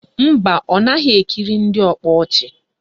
Mba, ọ naghị ekiri ndị ọkpa ọchị